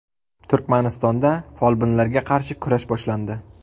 Turkmanistonda folbinlarga qarshi kurash boshlandi.